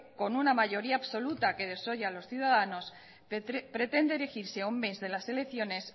con una mayoría absoluta que desoye a los ciudadanos pretende erigirse a un mes de las elecciones